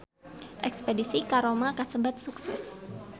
Espedisi ka Roma kasebat sukses